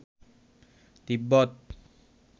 তিব্বত